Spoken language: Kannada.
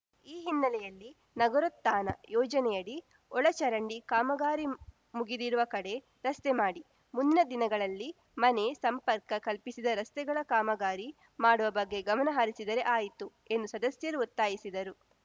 ಈ ಹಿನ್ನೆಲೆಯಲ್ಲಿ ನಗರೋತ್ಥಾನ ಯೋಜನೆಯಡಿ ಒಳಚರಂಡಿ ಕಾಮಗಾರಿ ಮುಗಿದಿರುವ ಕಡೆ ರಸ್ತೆ ಮಾಡಿ ಮುಂದಿನ ದಿನಗಳಲ್ಲಿ ಮನೆ ಸಂಪರ್ಕ ಕಲ್ಪಿಸಿದ ರಸ್ತೆಗಳ ಕಾಮಗಾರಿ ಮಾಡುವ ಬಗ್ಗೆ ಗಮನ ಹರಿಸಿದರೆ ಆಯಿತು ಎಂದು ಸದಸ್ಯರು ಒತ್ತಾಯಿಸಿದರು